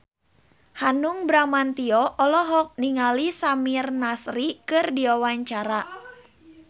Hanung Bramantyo olohok ningali Samir Nasri keur diwawancara